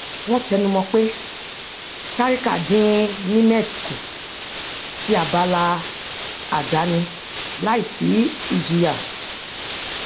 wọn tẹnumọ pé sarika dín nimet kù sí abala àdáni láì sí ìjìyà